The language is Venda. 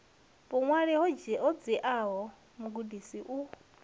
vhuṅwali ho dziaho mugudi u